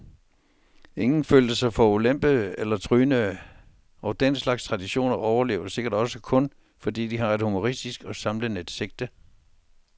Ingen følte sig forulempede eller trynede, og den slags traditioner overlever sikkert også kun, fordi de har et humoristisk og samlende sigte.